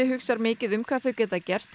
hugsa mikið um hvað þau geta gert